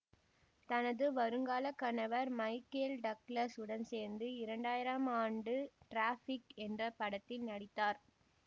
தனது வருங்கால கணவர் மைக்கேல் டக்ளஸ் உடன் சேர்ந்து இரண்டு ஆயிரம் ஆம் ஆண்டு டிராஃபிக் என்ற படத்தில் நடித்தார்